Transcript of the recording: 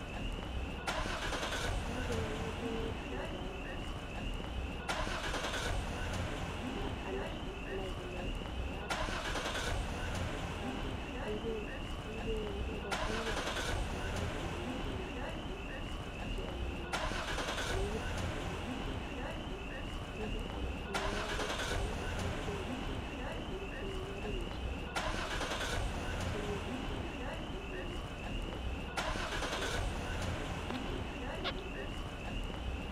Amoche ng'omnatet nepo anai kole makat um aibe arekap ngokaik anan aipe mayaik kotyonin konekit kikeny anan kotomo. Nerube amokchinigei karik cheu amakchinigei stimet, amokchinigei rumishek achop komie, akamokchinigei apiman kole teptos betushek ata [sc]incubator.